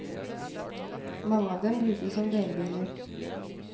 Mange av dem brukes som delebiler.